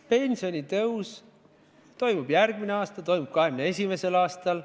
Pensionitõus toimub järgmisel aastal, toimub 2021. aastal.